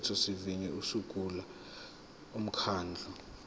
umthethosivivinyo usungula umkhandlu